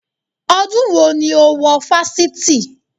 Ọdún wo ni o wo wọ Fáṣítì?